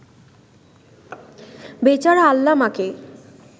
বেচারা আল্লামাকে